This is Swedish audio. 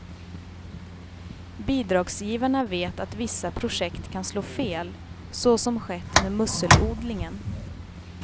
Bidragsgivarna vet att vissa projekt kan slå fel, så som skett med musselodlingen.